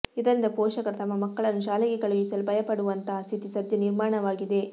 ಇದರಿಂದ ಪೋಷಕರು ತಮ್ಮ ಮಕ್ಕಳನ್ನು ಶಾಲೆಗೆ ಕಳುಹಿಸಲು ಭಯಪಡುವಂತಹ ಸ್ಥಿತಿ ಸದ್ಯ ನಿರ್ಮಾಣವಾಗಿದೆ